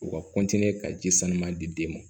U ka ka ji sanuya di den ma